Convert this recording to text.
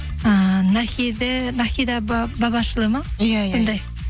ыыы нахеда бабашлы ма иә иә сондай